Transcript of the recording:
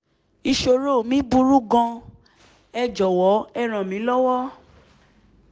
ìṣòro mi burú gan-an ẹ jọ̀wọ́ ẹ ràn mí lọ́wọ́